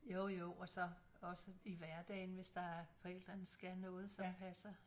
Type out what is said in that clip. Jo jo og så også i hverdagen hvis der forældrene skal noget som passer